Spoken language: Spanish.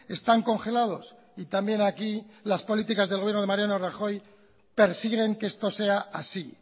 están congelados y también aquí las políticas del gobierno de mariano rajoy persiguen que esto sea así